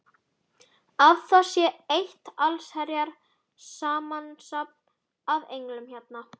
Að það sé eitt allsherjar samansafn af englum hérna!